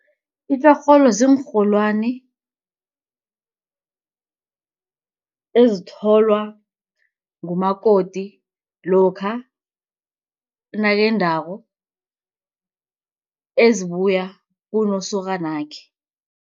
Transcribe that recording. Itjorholo ziinrholwani ezitholwa ngumakoti lokha nakendako ezibuya kunosokanakhe.